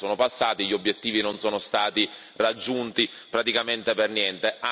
Gli anni sono passati, gli obiettivi non sono stati raggiunti praticamente per niente.